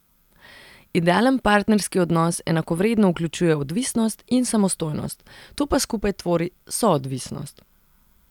Idealen partnerski odnos enakovredno vključuje odvisnost in samostojnost, to pa skupaj tvori soodvisnost.